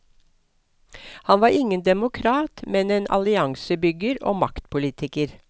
Han var ingen demokrat, men en alliansebygger og maktpolitiker.